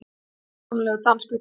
Dásamlegur danskur grautur!